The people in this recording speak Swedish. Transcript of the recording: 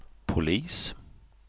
polis